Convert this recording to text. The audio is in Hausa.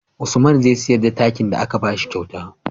Usman zai siyar takin da aka bashi kyauta